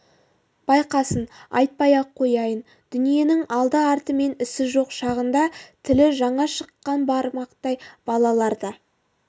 басқасын айтпай-ақ қояйын дүниенің алды артымен ісі жоқ шағында тілі жаңа ғана шыққан бармақтай балалар да